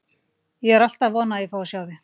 Ég er alltaf að vona að ég fái að sjá þig.